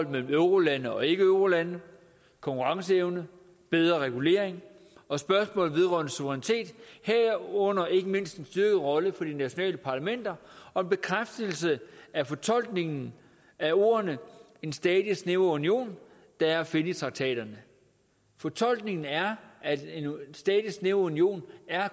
mellem eurolande og ikkeeurolande konkurrenceevne bedre regulering og spørgsmålet vedrørende suverænitet herunder ikke mindst den styrkede rolle for de nationale parlamenter og en bekræftelse af fortolkningen af ordene en stadig snævrere union der er at finde i traktaterne fortolkningen er at en stadig snævrere union